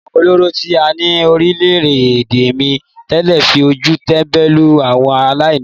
Àwọn ọlọ́rọ̀ tí a ní lórílẹ̀-èdè mi tẹ́lẹ̀ fi ojú tẹ́ńbẹ́lú àwọn aláìní.